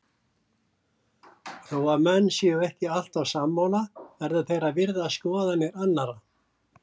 Þó að menn séu ekki alltaf sammála verða þeir að virða skoðanir annara.